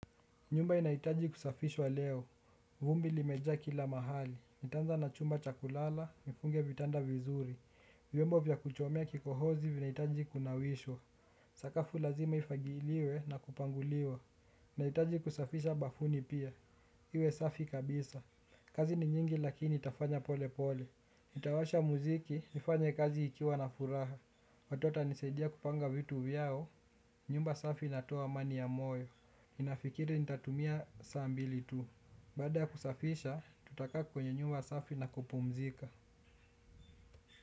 Nyumba inaitaji kusafishwa leo. Vumbi limeja kila mahali. Nitanza na chumba chakulala, nifunge vitanda vizuri. Vyombo vya kuchomea kikohozi vinaitaji kunawishwa. Sakafu lazima ifagiliwe na kupanguliwa. Naitaji kusafisha bafuni pia. Iwe safi kabisa. Kazi ni nyingi lakini nitafanya pole pole. nitawasha muziki, nifanye kazi ikiwa na furaha. Watoto wanisedia kupanga vitu vyao. Nyumba safi inatowa amani ya moyo. Ninafikiri nitatumia saa mbili tu. Bada kusafisha tutaka kwenye nyumba safi na kupumzika.